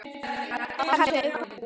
kallaði hún.